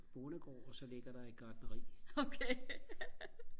bondegård og så ligger der et gartneri